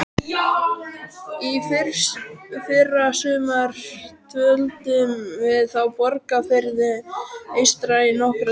Í fyrrasumar dvöldum við á Borgarfirði eystra í nokkra daga.